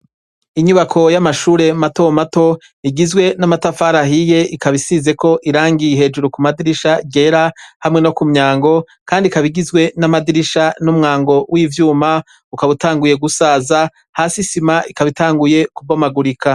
Inyubako y'amashure mato mato igizwe n'amatafari ahiye, ikaba isizeko irangi hejuru ku madirisha ryera hamwe no ku myango, kandi ikaba igizwe n'amadirisha n'umwango w'ivyuma, ukaba utanguye gusaza, hasi isima ikaba utanguye kubomagurika.